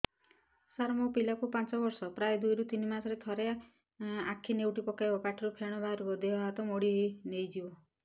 ସାର ମୋ ପିଲା କୁ ପାଞ୍ଚ ବର୍ଷ ପ୍ରାୟ ଦୁଇରୁ ତିନି ମାସ ରେ ଥରେ ଆଖି ନେଉଟି ପକାଇବ ପାଟିରୁ ଫେଣ ବାହାରିବ ଦେହ ହାତ ମୋଡି ନେଇଯିବ